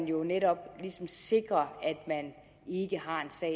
jo netop sikres at man ikke har en sag